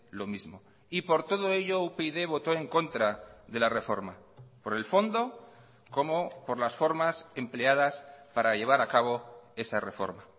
lo mismo y por todo ello upyd votó en contra de la reforma por el fondo como por las formas empleadas para llevar a cabo esa reforma